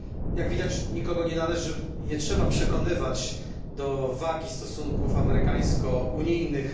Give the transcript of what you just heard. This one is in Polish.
Jak widać nikogo nie należy i nie trzeba przekonywać do wagi stosunków amerykańsko unijnych.